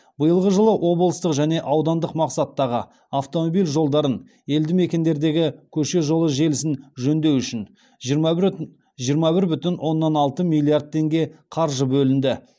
биылғы жылы облыстық және аудандық мақсаттағы автомобиль жолдарын елді мекендердегі көше жолы желісін жөндеу үшін жиырма бір бүтін оннан алты миллиард теңге қаржы бөлінді